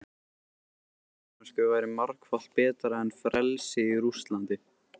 Fangelsi í Danmörku væri margfalt betra en frelsi í Rússlandi.